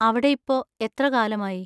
അവിടെ ഇപ്പൊ എത്ര കാലമായി?